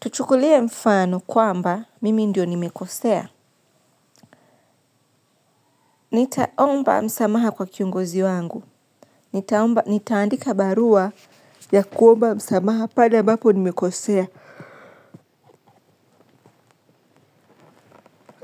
Tuchukulie mfano kwamba mimi ndiyo nimekosea. Nitaomba msamaha kwa kiongozi wangu. Nitaomba, nitaandika barua ya kuomba msamaha pale ambapo nimekosea.